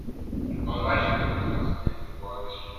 on why she take responsibility for dis children